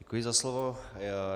Děkuji za slovo.